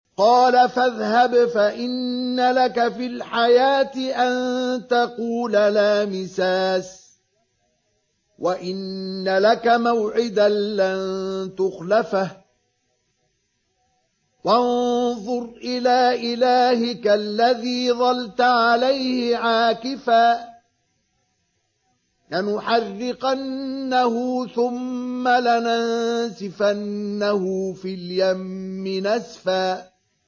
قَالَ فَاذْهَبْ فَإِنَّ لَكَ فِي الْحَيَاةِ أَن تَقُولَ لَا مِسَاسَ ۖ وَإِنَّ لَكَ مَوْعِدًا لَّن تُخْلَفَهُ ۖ وَانظُرْ إِلَىٰ إِلَٰهِكَ الَّذِي ظَلْتَ عَلَيْهِ عَاكِفًا ۖ لَّنُحَرِّقَنَّهُ ثُمَّ لَنَنسِفَنَّهُ فِي الْيَمِّ نَسْفًا